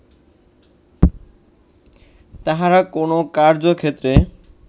তাঁহারা কোন কার্যক্ষেত্রে